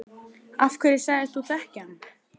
Af hverju sagðist þú þekkja hann?